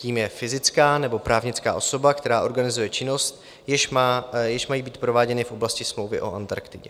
Tím je fyzická nebo právnická osoba, která organizuje činnosti, jež mají být prováděny v oblasti Smlouvy o Antarktidě.